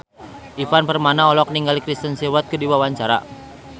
Ivan Permana olohok ningali Kristen Stewart keur diwawancara